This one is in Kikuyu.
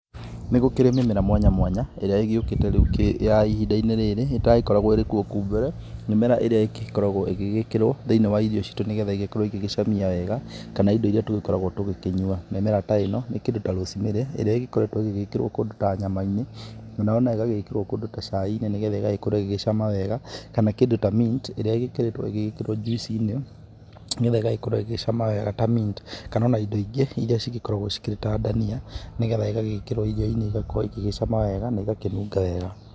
Nĩ gũkĩrĩ mĩmera mwanya mwanya ĩrĩa ĩgĩkũte rĩu ya ihinda rĩrĩ ĩtagĩkoragwo ĩrĩ kuo kũu mbere. Mĩmera ĩrĩa igĩkoragwo ĩgĩgĩkĩrwo thĩinĩ wa irio citũ nĩgetha igĩkorwo igĩcamia wega, kana indo iria tũgĩkoragwo tũgĩkĩnyua. Mĩmera ta ĩno nĩ ta, rosemary ĩrĩa ĩgĩkoretwo ĩgĩkĩrwo kũndũ ta nyama-inĩ, kana o na igekĩrwo kũndĩ ta cai-inĩ, nĩgetha ũgagĩkorwo ũgĩcama wega kana kũndũ ta mint ĩrĩa ĩgĩkoretwo ĩgĩkĩrwo juicinĩ nĩgetha ĩgagĩkorwo ĩgĩcama wega ta mint. Kana o na indo ingĩ iria cigĩkoragwo irĩ ta ndania nĩgetha ĩgagĩkĩrwo irio-inĩ igakorwo igĩcama wega na iga kĩnunga wega.